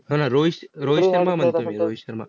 हा हा. रोहित रोहित शर्मा म्हणतो मी रोहित शर्मा.